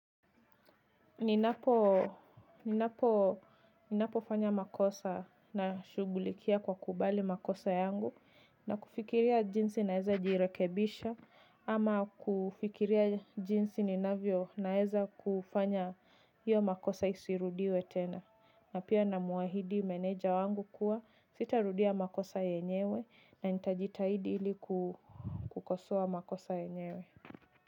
Ninapo, ninapo, ninapo fanya makosa na shugulikia kwa kukubali makosa yangu na kufikiria jinsi naeza jirekebisha ama kufikiria jinsi ninavyo naeza kufanya hiyo makosa isirudiwe tena na pia na muahidi meneja wangu kuwa sitarudia makosa yenyewe na nitajitahidi ili kukosoa makosa yenyewe.